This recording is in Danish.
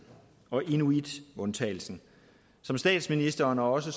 og inuitundtagelsen som statsministeren og også